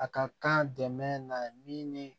A ka kan dɛmɛ na min ni